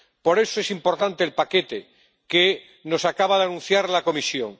Por eso, es importante el paquete que nos acaba de anunciar la Comisión.